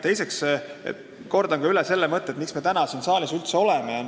Teiseks kordan üle selle, miks me täna siin saalis üldse oleme.